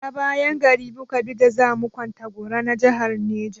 Ta bayan gari mu ka bi da za mu kwantagora na jahar Neja.